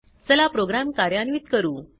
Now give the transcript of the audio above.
चला प्रोग्राम कार्यान्वित करू